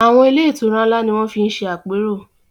Àwọn ilé-ìtura ńlá ni wọ́n fi ń ṣe àpérò.